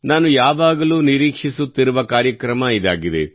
ನಾನು ಯಾವಾಗಲೂ ನಿರೀಕ್ಷಿಸುತ್ತಿರುವ ಕಾರ್ಯಕ್ರಮ ಇದಾಗಿದೆ